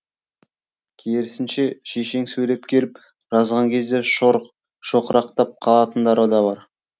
керісінше шешен сөйлеп келіп жазған кезде шоқырақтап қалатындары да бар